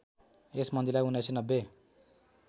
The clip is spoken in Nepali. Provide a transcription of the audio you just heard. यस मन्दिरलाई १९९०